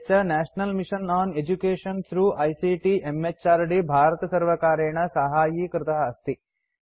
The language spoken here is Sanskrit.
यच्च national mission on education through ICT म्हृद् भारतसर्वकारेण साहाय्यीकृत अस्ति